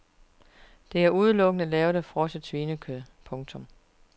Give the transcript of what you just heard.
Det er udelukkende lavet af frosset svinekød. punktum